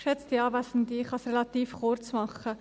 Ich kann es relativ kurz machen.